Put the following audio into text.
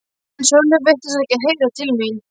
En Sölvi virtist ekki heyra til mín.